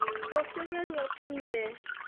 Rũciũ geria ũkinye